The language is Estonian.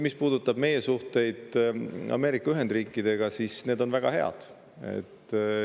Mis puudutab meie suhteid Ameerika Ühendriikidega, siis need on väga head.